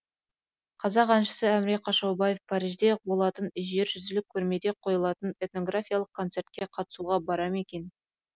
қазақ әншісі әміре қашаубаев парижде болатын жержүзілік көрмеде қойылатын этнографиялық концертке қатысуға бара ме екен